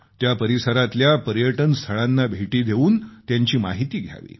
त्या परिसरातल्या पर्यटन स्थळांना भेटी देऊन त्यांची माहिती घ्यावी